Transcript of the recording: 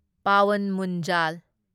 Pawan ꯃꯨꯟꯖꯥꯜ